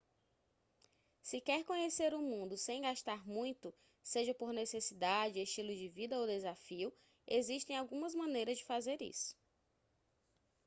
se quer conhecer o mundo sem gastar muito seja por necessidade estilo de vida ou desafio existem algumas maneiras de fazer isso